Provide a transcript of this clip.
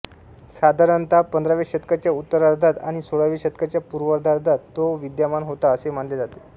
साधारणतः पंधराव्या शतकाच्या उत्तरार्धात आणि सोळाव्या शतकाच्या पूर्वार्धात तो विद्यमान होता असे मानले जाते